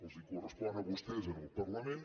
els correspon a vostès en el parlament